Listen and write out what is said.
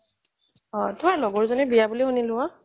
তোমাৰ লগৰ এজনীৰ বিয়া বুলি শুনিলো অ